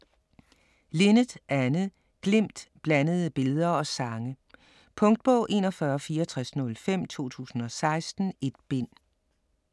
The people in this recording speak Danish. Linnet, Anne: Glimt: blandede billeder og sange Punktbog 416405 2016. 1 bind.